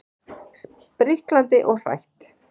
Spriklandi og hrætt.